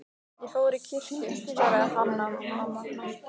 Ég fór í kirkju, svaraði Hanna-Mamma.